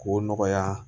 K'o nɔgɔya